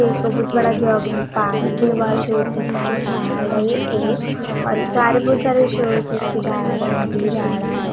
एक बहुत बड़ा जॉगिंग पार्क है वहाँ शोपीस के झाड है एक और सारे बहुत सारे शोपीस झाड है नकली झाड़ा है।